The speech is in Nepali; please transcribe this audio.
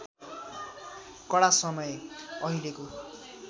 कडा समय अहिलेको